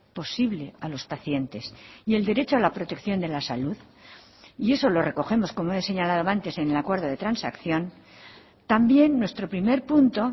posible a los pacientes y el derecho a la protección de la salud y eso lo recogemos como he señalado antes en el acuerdo de transacción también nuestro primer punto